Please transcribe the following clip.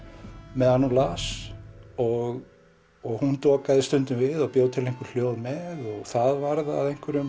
meðan hún las og hún stundum við og bjó til hljóð með og það varð að einhverjum